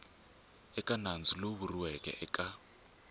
eka nandzu lowu vuriweke eka